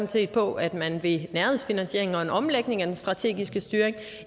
set på at man ved nærhedsfinansiering og en omlægning af den strategiske styring